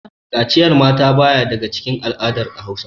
Kaciyan mata ba ya daga cikin al'adar Hausa.